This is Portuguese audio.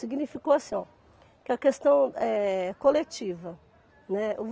Significou assim, ó, que a questão é coletiva, né?